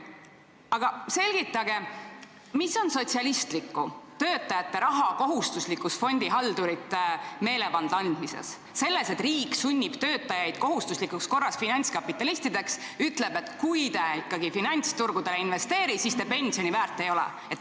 Palun selgitage, mida on sotsialistlikku töötajate raha kohustuslikus fondihaldurite meelevalda andmises, selles, et riik sunnib töötajaid kohustuslikus korras finantskapitalistideks ja ütleb, et kui te ikka finantsturgudel ei investeeri, siis te pensioni väärt ei ole.